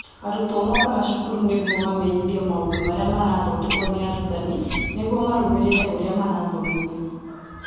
Arutwo mookaga cukuru nĩguo mamenyithio maũndũ marĩa marathondekwo nĩ arutani nĩguo marũmĩrĩre ũrĩa marathomithio.